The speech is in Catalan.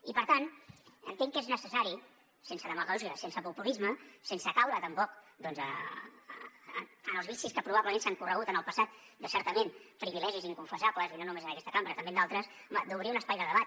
i per tant entenc que és necessari sense demagògia sense populisme sense caure tampoc doncs en els vicis que probablement han ocorregut en el passat de certament privilegis inconfessables i no només en aquesta cambra també en d’altres home d’obrir un espai de debat